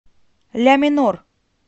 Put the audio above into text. ля минор